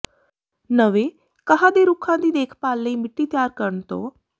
ਨਵੇਂ ਘਾਹ ਦੇ ਰੁੱਖਾਂ ਦੀ ਦੇਖਭਾਲ ਲਈ ਮਿੱਟੀ ਤਿਆਰ ਕਰਨ ਤੋਂ